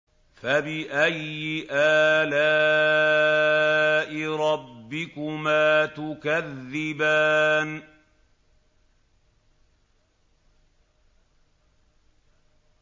فَبِأَيِّ آلَاءِ رَبِّكُمَا تُكَذِّبَانِ